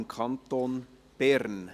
im Kanton Bern».